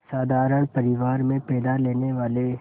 साधारण परिवार में पैदा लेने वाले